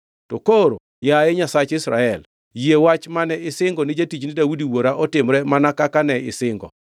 To koro, yaye Nyasach Israel, yie wach mane isingo ni jatichni Daudi wuora otimre mana kaka ne isingo.